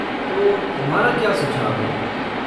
तो तुम्हारा क्या सुझाव है?